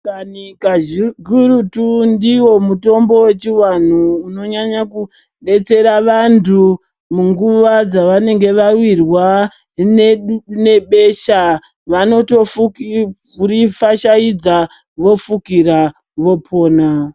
Mashakani kakurutu ndiwo mutombo wechiwanhu unonyanya kudetsera vantu munguva dzavanenge vawirwa nebesha vanotorifashaidza vofukira vopona.